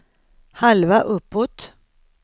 halva uppåt